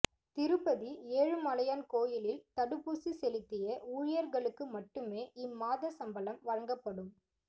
திருப்பதி ஏழுமலையான் கோயிலில் தடுப்பூசி செலுத்திய ஊழியர்களுக்கு மட்டுமே இம்மாத சம்பளம் வழங்கப்படும்